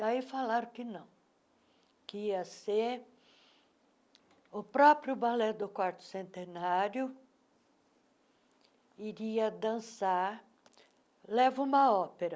Daí falaram que não, que ia ser... O próprio balé do quarto centenário iria dançar... Leva uma ópera.